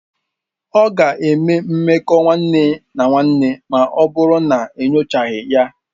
Ọ ga-eme mmekọahụ nwanne na nwanne ma ọ bụrụ na enyochaghị ya.